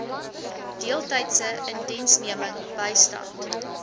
deeltydse indiensneming bystand